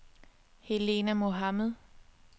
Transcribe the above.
Helena Mohamed